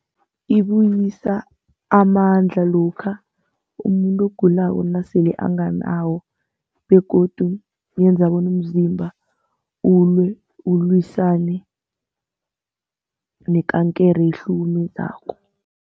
Ibuyisa amandla lokha umuntu ogulako nasele anganawo begodu yenza bona umzimba ulwe, ulwisane nekankere ehlukumezako.